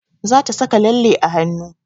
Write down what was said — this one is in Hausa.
Za ta saka lalle a hanu